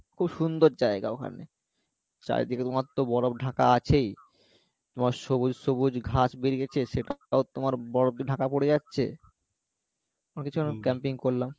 খুব সুন্দর জায়গা ওখানে চারিদিকে তোমার তো বরফ ঢাকা আছে তোমার সবুজ সবুজ ঘাস বেরিয়েছে সেটাও তোমার বরফে ঢাকা পরে যাচ্ছে camping করলাম